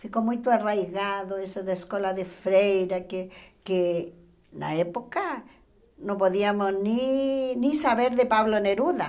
Ficou muito arraigado isso da escola de freira, que que na época não podíamos nem nem saber de Pablo Neruda.